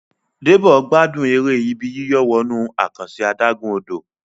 Debo gbádùn èrè Ibi yíyọ̀ wọnú àkànṣe adágún-odò